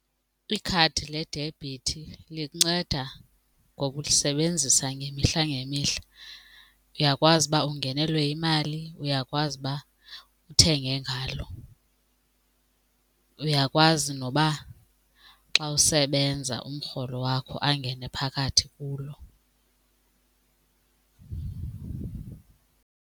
Ikhadi le-debit linceda ngoba ulisebenzisa ngemihla ngemihla. Uyakwazi uba ungenelwe yimali uyakwazi uba uthenge ngalo, uyakwazi noba xa usebenza umrholo wakho angene phakathi kulo.